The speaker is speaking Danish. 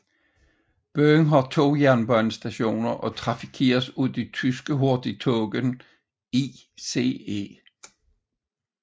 Byen har to jernbanestationer og trafikeres af de tyske hurtigtog ICE